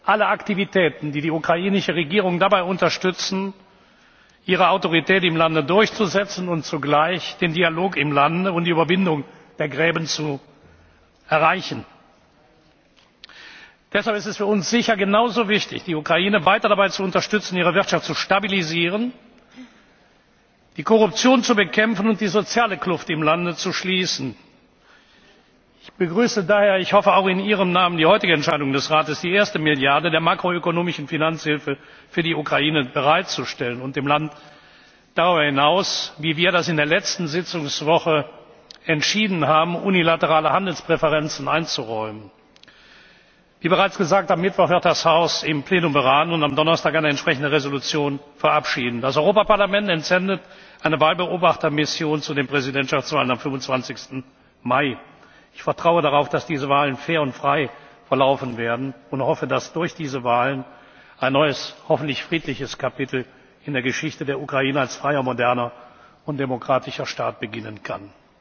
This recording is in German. alle Aktivitäten, die die ukrainische Regierung dabei unterstützen, ihre Autorität im Lande durchzusetzen und zugleich den Dialog im Land und die Überwindung der Gräben zu erreichen. Deshalb ist es für uns sicher genauso wichtig, die Ukraine weiter dabei zu unterstützen, ihre Wirtschaft zu stabilisieren, die Korruption zu bekämpfen und die soziale Kluft im Land zu schließen. Ich begrüße daher ich hoffe, auch in Ihrem Namen die heutige Entscheidung des Rates, die erste Milliarde der makroökonomischen Finanzhilfe für die Ukraine bereitzustellen und dem Land darüber hinaus wie wir das in der letzten Sitzungswoche entschieden haben unilaterale Handelspräferenzen einzuräumen. Wie bereits gesagt, wird das Haus am Mittwoch im Plenum beraten und am Donnerstag eine entsprechende Entschließung verabschieden. Das Europaparlament entsendet eine Wahlbeobachtungsmission zur Präsidentschaftswahl am 25. Mai. Ich vertraue darauf, dass diese Wahl fair und frei verlaufen wird, und hoffe, dass durch diese Wahl ein neues, hoffentlich friedliches Kapitel in der Geschichte der Ukraine als freier, moderner und demokratischer Staat beginnen